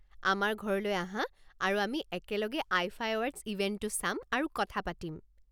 আমাৰ ঘৰলৈ আহা আৰু আমি একেলগে আইফা এৱাৰ্ডছ ইভেণ্টটো চাম আৰু কথা পাতিম।